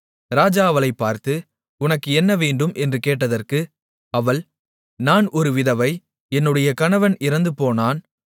ராஜா அவளைப் பார்த்து உனக்கு என்ன வேண்டும் என்று கேட்டதற்கு அவள் நான் ஒரு விதவை என்னுடைய கணவன் இறந்துபோனான்